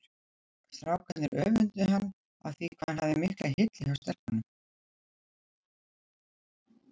Strákarnir öfunduðu hann af því hvað hann hafði mikla hylli hjá stelpunum.